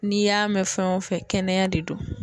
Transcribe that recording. N'i y'a mɛn fɛn o fɛn kɛnɛya de do.